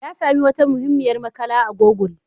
Ya sami wata muhimmiyar makala a google.